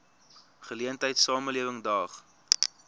geleentheid samelewing daag